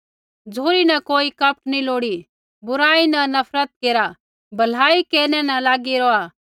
झ़ुरी न कोई कपट नी लोड़ी बुराई न नफरत केरा भलाई केरनै न लागी रौहा